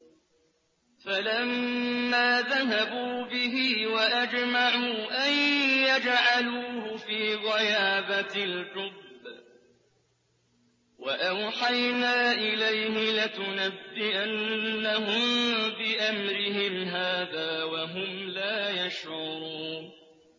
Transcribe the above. فَلَمَّا ذَهَبُوا بِهِ وَأَجْمَعُوا أَن يَجْعَلُوهُ فِي غَيَابَتِ الْجُبِّ ۚ وَأَوْحَيْنَا إِلَيْهِ لَتُنَبِّئَنَّهُم بِأَمْرِهِمْ هَٰذَا وَهُمْ لَا يَشْعُرُونَ